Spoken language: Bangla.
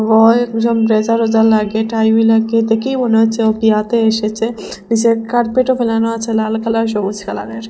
বয় একজন ব্লেজার ওয়েজার লাগিয়ে টাই ভি লাগিয়ে দেখেই মনে হচ্ছে উ বিহাতে এসেছে নীসে কার্পেটও ফেলানো আছে লাল কালারের সবুজ কালারের।